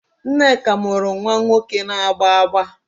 Nneka mụrụ nwa nwoke na-agba agba